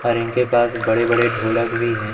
और इनके पास बड़े बड़े ढोलक भी हैं।